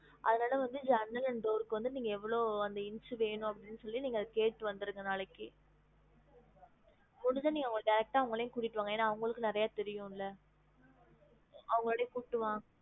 அதனால வந்து ஜன்னல் and door கு வந்து நீங்க எவ்ளோ அந்த inch வேணும் அப்டின்னு சொல்லி நீங்க கேட்டு வந்திருங்க நாளைக்கு முடிஞ்சா நீங்க அவங்கள direct ஆஹ் அவங்களையும் கூட்டிட்டு வாங்க ஏன்னா அவங்களுக்கும் நிறைய தெரியும்ல அவங்கலோடையும் குப்பிட்டு வாங்க